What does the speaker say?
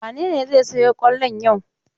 Wane ne zai sayo kwallon yau?